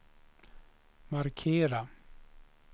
markera